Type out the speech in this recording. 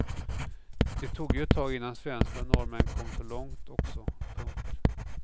Det tog ju ett tag innan svenskar och norrmän kom så långt också. punkt